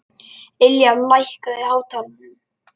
Ylja, lækkaðu í hátalaranum.